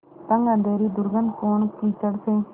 तंग अँधेरी दुर्गन्धपूर्ण कीचड़ से